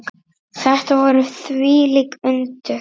Þetta voru þvílík undur.